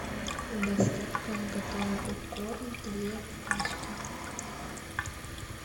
доставка готовый попкорн две пачки